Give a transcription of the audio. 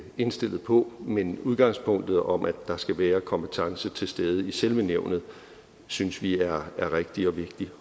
indstillet på men udgangspunktet om at der skal være kompetence til stede i selve nævnet synes vi er rigtigt og vigtigt